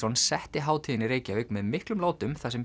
setti hátíðina í Reykjavík með miklum látum þar sem